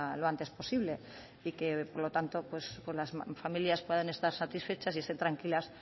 lo antes posible y que por lo tanto pues por las familias puedan estar satisfechas y estén tranquilas